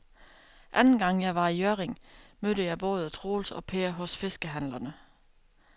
Anden gang jeg var i Hjørring, mødte jeg både Troels og Per hos fiskehandlerne.